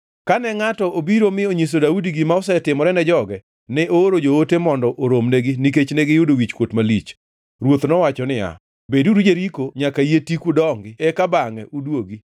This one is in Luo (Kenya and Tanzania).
Kane ngʼato obiro mi onyiso Daudi gima osetimore ne joge, ne ooro joote mondo oromnegi nikech ne giyudo wichkuot malich. Ruoth nowacho niya, “Beduru Jeriko nyaka yie tiku dongi eka bangʼe uduogi.”